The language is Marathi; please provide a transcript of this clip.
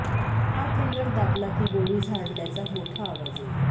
हा ट्रिगर दाबला की गोळी झाडल्याचा मोठा आवाज येईल